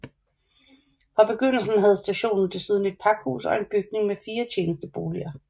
Fra begyndelsen havde stationen desuden et pakhus og en bygning med fire tjenesteboliger